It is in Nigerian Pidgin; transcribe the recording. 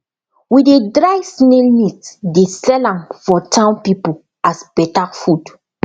we dey dry snail meat dey sell am for town people as better food